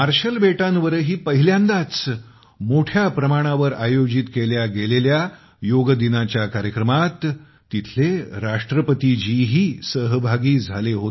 marshal बेटांवरही पहिल्यांदाच मोठ्या प्रमाणावर आयोजित केल्या गेलेल्या योग दिनाच्या कार्यक्रमात तिथल्या राष्ट्रपतींनीही भाग घेतला